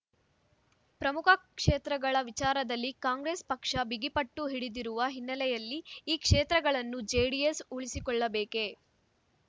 ಪ್ರಮುಖ ಕ್ಷೇತ್ರಗಳ ವಿಚಾರದಲ್ಲಿ ಕಾಂಗ್ರೆಸ್ ಪಕ್ಷ ಬಿಗಿಪಟ್ಟು ಹಿಡಿದಿರುವ ಹಿನ್ನೆಲೆಯಲ್ಲಿ ಈ ಕ್ಷೇತ್ರಗಳನ್ನು ಜೆಡಿಎಸ್ ಉಳಿಸಿಕೊಳ್ಳಬೇಕೆ